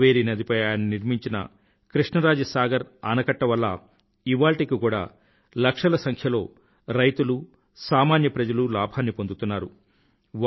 కావేరీ నదిపై ఆయన నిర్మించిన కృష్ణరాజ సాగర్ ఆనకట్ట వల్ల ఇవాళ్టికి కూడా లక్షల సంఖ్యలో రైతులు సామాన్య ప్రజలు లాభాన్ని పొందుతున్నారు